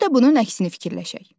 Bir də bunun əksini fikirləşək.